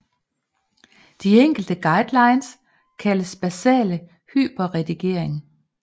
De enkle guidelines kaldes basal hyperredigering